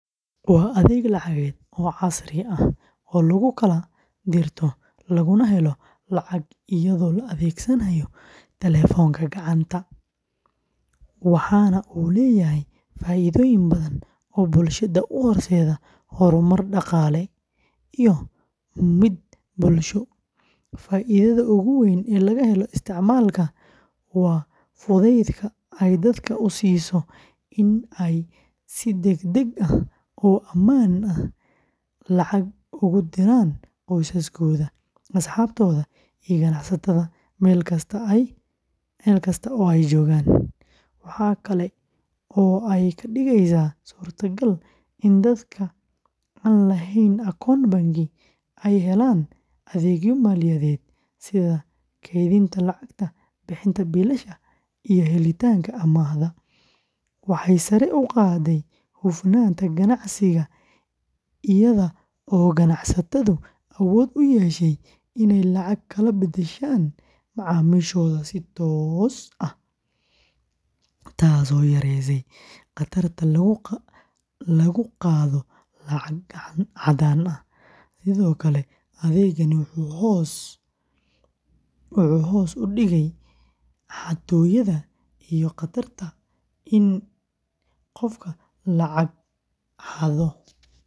Waa adeeg lacageed oo casri ah oo lagu kala dirto laguna helo lacag iyadoo la adeegsanayo taleefanka gacanta, waxaana uu leeyahay faa’iidooyin badan oo bulshada u horseeday horumar dhaqaale iyo mid bulsho. Faa’iidada ugu weyn ee laga helo isticmaalka, waa fudaydka ay dadka u siiso in ay si degdeg ah oo ammaan ah lacag ugu diraan qoysaskooda, asxaabtooda, iyo ganacsatada meel kasta oo ay joogaan. Waxa kale oo ay ka dhigeysaa suurtagal in dadka aan lahayn akoon bangi ay helaan adeegyo maaliyadeed sida kaydinta lacagta, bixinta biilasha, iyo helitaanka amaah, waxay sare u qaadday hufnaanta ganacsiga iyada oo ganacsatadu awood u yeesheen inay lacag kala beddeshaan macaamiishooda si toos ah, taas oo yaraysay khatarta lagu qaado lacag caddaan ah. Sidoo kale, adeegani wuxuu hoos u dhigay xatooyada iyo khatarta in qofka lacag laga xado.